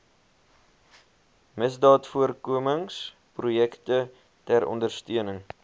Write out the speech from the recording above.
misdaadvoorkomingsprojekte ter ondersteuning